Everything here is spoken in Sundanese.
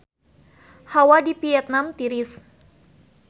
Hawa di Vietman tiris